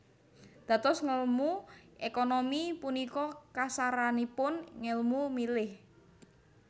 Dados ngèlmu ékonomi punika kasaranipun ngèlmu milih